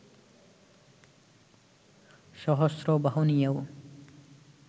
সহস্র বাহু নিয়েও